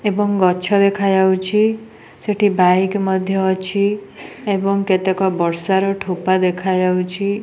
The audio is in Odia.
ଏବଂ ଗଛ ଦେଖାଯାଉଛି। ସେଠି ବାଇକ ମଧ୍ଯ ଅଛି ଏବଂ କେତେକ ବର୍ଷାର ଠୋପା ଦେଖାଯାଉଛି।